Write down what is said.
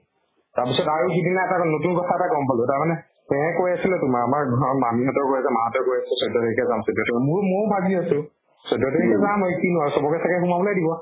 তাৰ পিছত আৰু সিদিনা এটা নতুন কথা এটা গম পালো। তাৰ মানে হেয়ে কৈ আছিলে তোমাৰ আমাৰ মোৰো মোৰো ভাগ দি আছো। চৈধ্য় তাৰিখে যাম মই কিনো আৰু চব্কে সোমাবলে দিব।